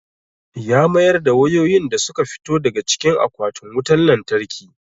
Ya mayar da wayoyin da su ka fito daga cikin akwatin wutan lantarki.